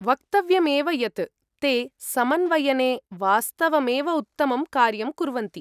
वक्तव्यम् एव यत्, ते समन्वयने वास्तवमेव उत्तमं कार्यं कुर्वन्ति।